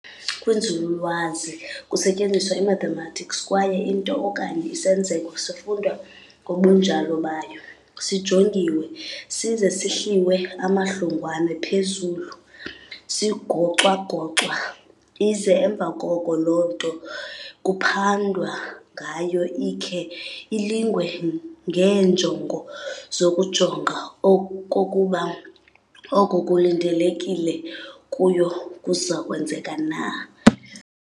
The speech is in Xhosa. Kwinzululwazi kusetyenziswa imathematics, kwaye into okanye isenzeko sifundwa ngobunjalo bayo, sijongiwe, size sihliwe amahlongwane phezulu, sigocwagocwa, ize emva koko loo nto kuphandwa ngayo ikhe ilingwe ngeenjongo zokujonga okokuba oko kulindelekile kuyo kuzakwenzeka na.